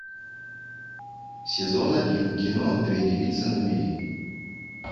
сезон один кино две девицы на мели